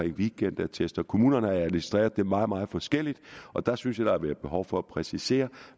weekendattester som kommunerne har administreret meget meget forskelligt der synes jeg at været behov for at præcisere